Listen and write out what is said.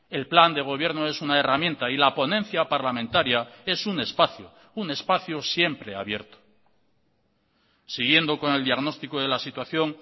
el plan de gobierno es una herramienta y la ponencia parlamentaria es un espacio un espacio siempre abierto siguiendo con el diagnóstico de la situación